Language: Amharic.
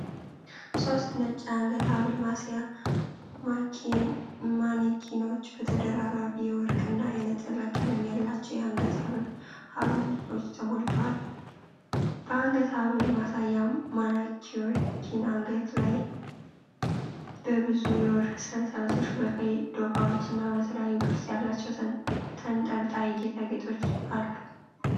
ሦስት ነጭ የአንገት ሐብል ማሳያ ማኔኪኖች በተደራራቢ የወርቅ እና የነጠላ ቀለም ያላቸው የአንገት ሐብልቶች ተሞልተዋል። በአንገት ሐብልት ማሳያ ማኔኪን አንገቶች ላይ በብዙ የወርቅ ሰንሰለቶች፣ በቀይ ዶቃዎች እና በተለያዩ ቅርጽ ያላቸው ተንጠልጣይ ጌጣጌጦች አሉ።